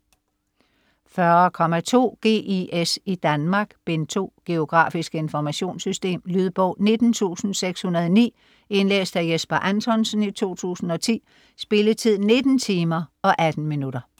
40.2 GIS i Danmark: Bind 2 Geografisk informationssystem. Lydbog 19609 Indlæst af Jesper Anthonsen, 2010. Spilletid: 19 timer, 18 minutter.